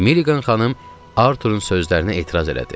Milliqan xanım Arturun sözlərinə etiraz elədi.